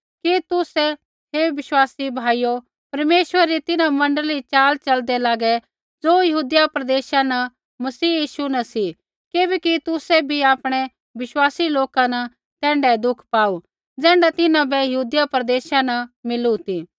कि तुसै हे विश्वासी भाइयो परमेश्वरै री तिन्हां मण्डली री च़ाल च़लदै लागै ज़ो यहूदिया प्रदेशा न मसीह यीशु न सी किबैकि तुसै बी आपणै विश्वासी लोका न तैण्ढाऐ दुख पाऊ ज़ैण्ढा तिन्हां बै यहूदिया प्रदेशा न मिलू ती